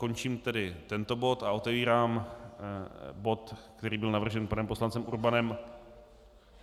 Končím tedy tento bod a otevírám bod, který byl navržen panem poslancem Urbanem.